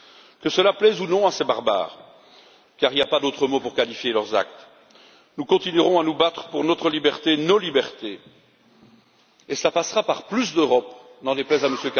Que cela plaise ou non à ces barbares, car il n'y a pas d'autre mot pour qualifier leurs actes, nous continuerons à nous battre pour notre liberté, nos libertés, et cela passera par plus d'Europe, n'en déplaise à M.